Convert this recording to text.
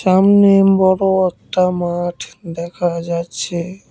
সামনেম বড়ো একটা মাঠ দেখা যাচ্ছে।